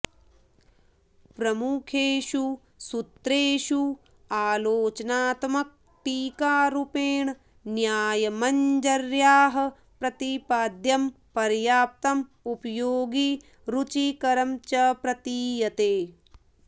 प्रमुखेषु सूत्रेषु आलोचनात्मकटीकारूपेण न्यायमञ्जर्याः प्रतिपाद्यं पर्याप्तम् उपयोगि रुचिकरं च प्रतीयते